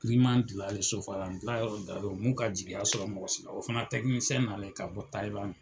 Siman dilan yɔrɔ, sosofagalan dila yɔrɔ da ka jigiya sɔrɔ mɔgɔ si o fana tɛkinisɛn nalen ka bɔ Tayiladi.